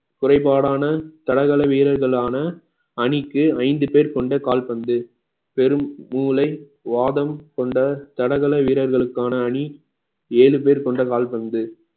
குறைபாடான தடகளை வீரர்களான அணிக்கு ஐந்து பேர் கொண்ட கால்பந்து பெரும் மூளை வாதம் கொண்ட தடகள வீரர்களுக்கான அணி ஏழு பேர் கொண்ட கால்பந்து